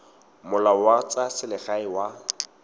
molao wa tsa selegae wa